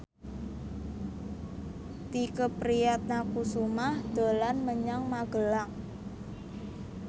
Tike Priatnakusuma dolan menyang Magelang